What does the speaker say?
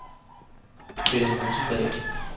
Frida Rosendahl